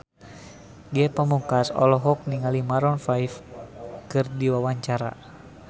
Ge Pamungkas olohok ningali Maroon 5 keur diwawancara